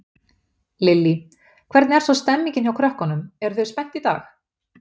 Lillý: Hvernig er svo stemmingin hjá krökkunum, eru þau spennt í dag?